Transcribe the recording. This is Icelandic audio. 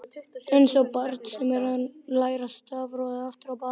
Einsog barn sem er að læra stafrófið aftur á bak.